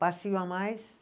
Passinho a mais.